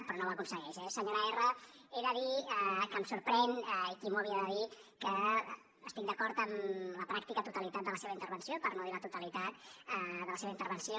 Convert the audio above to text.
però no ho aconsegueix eh senyora erra he de dir que em sorprèn i qui m’ho havia de dir que estic d’acord amb la pràctica totalitat de la seva intervenció per no dir la totalitat de la seva intervenció